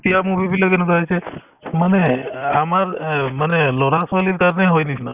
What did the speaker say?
এতিয়াৰ movie বিলাক এনেকুৱা হৈছে মানে এই আমাৰ এ মানে ল'ৰা-ছোৱালীৰ কাৰণে হয় বেছিভাগ